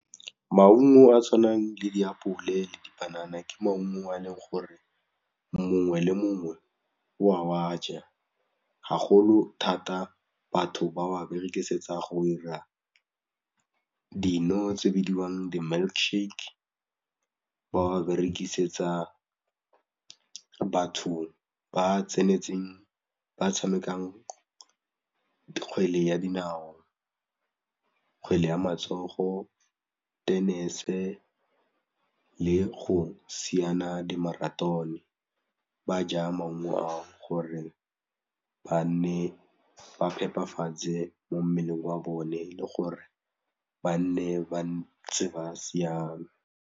Maungo a a tshwanang le ditapole le dipanana ke maungo a leng gore mongwe le mongwe wa aja, ga golo thata batho ba wa berekisetsa go 'ira dino tse bidiwang di-milkshake, ba wa rekisetsa batho ba tsenetseng ba tshamekang kgwele ya dinao, kgwele ya matsogo tennis-e le go siana di-marathon-e, ba ja maungo gore ba nne ba phepafatse mo mmeleng wa bone le gore ba nne ba ntse ba siame.